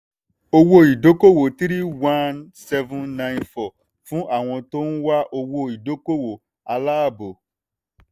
owó-ìdókòwò three one seven nine four fún àwọn tó ń wá owó-ìdókòwò aláàbò.